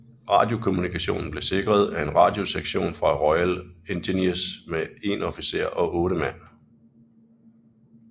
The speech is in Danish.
Radiokommunikation blev sikret af en radiosektion fra Royal Engineers med 1 officer og 8 mand